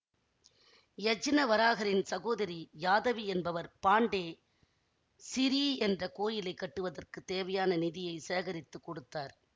யஜ்னவராகரின் சகோதரி யாதவி என்பவர் பாண்டே சிறீ என்ற கோயிலை கட்டுவதற்குத் தேவையான நிதியைச் சேகரித்து கொடுத்தார்